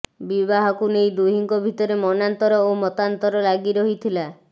ବିବାହକୁ ନେଇ ଦୁହିଁଙ୍କ ଭିତରେ ମନାନ୍ତର ଓ ମତାନ୍ତର ଲାଗି ରହିଥିଲା